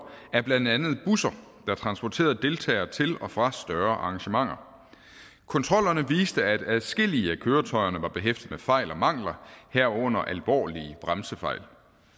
af blandt andet busser der transporterede deltagere til og fra større arrangementer kontrollerne viste at adskillige af køretøjerne var behæftet med fejl og mangler herunder alvorlige bremsefejl